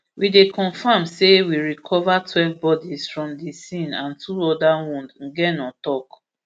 we dey confam say we recover twelve bodies from di scene and two oda wound ngeno tok